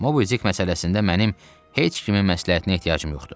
Mobidik məsələsində mənim heç kimin məsləhətinə ehtiyacım yoxdur.